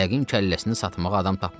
Yəqin kəlləsini satmağa adam tapmayıb.